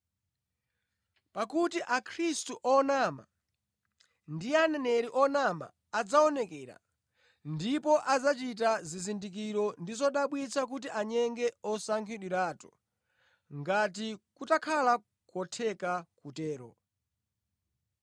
Pakuti akhristu onama ndi aneneri onama adzaonekera ndipo adzachita zizindikiro ndi zodabwitsa kuti anyenge osankhidwiratu ngati kutakhala kotheka kutero.